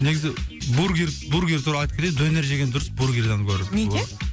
негізі бургер бургер туралы айтып кетейін донер жеген дұрыс бургердан гөрі неге